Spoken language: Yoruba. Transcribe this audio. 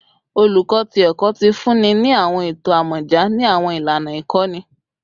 Oluko ti Ẹkọ ti funni ni awọn eto amọja ni awọn ilana ikọni